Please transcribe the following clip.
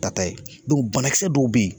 Tata ye banakisɛ dɔw bɛ ye